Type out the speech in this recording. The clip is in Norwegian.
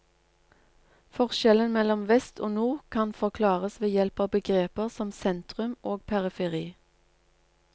Forskjellen mellom vest og nord kan forklares ved hjelp av begreper som sentrum og periferi.